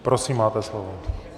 Prosím, máte slovo.